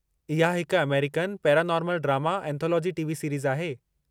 इहा हिकु American paranormal drama anthology TV series आहे।